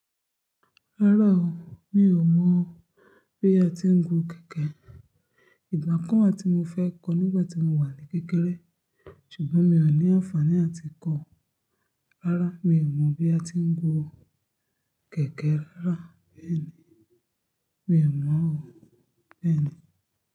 Rárá o, mi ò mọ̀ bí a ti ń gun kẹ̀kẹ́. Ìgbà kan wa tí mo fẹ́ kọ nígbà tí mo wà ní kékeré, ṣùgbọ́n mi ò ní àǹfààní láti kọ́. Rárá, mi ò mọ̀ bí a ti ń gun kẹ̀kẹ́ rárá bẹ́ẹ̀ni, mi ò mọ̀ o bẹ́ẹ̀ni.